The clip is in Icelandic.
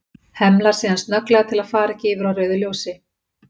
Hemlar síðan snögglega til að fara ekki yfir á rauðu ljósi.